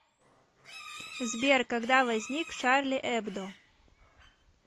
сбер когда возник шарли эбдо